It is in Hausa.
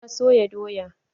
Na soya doya.